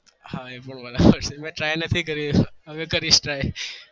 હા એ પણ બનાવી પડશે